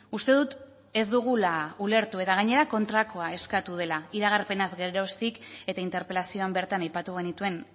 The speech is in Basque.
uste dut ez dugula ulertu eta gainera kontrakoa eskatu dela iragarpena geroztik eta interpelazioan bertan aipatu genituen